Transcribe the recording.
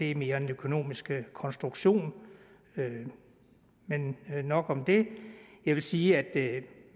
er mere en økonomisk konstruktion men nok om det jeg vil sige at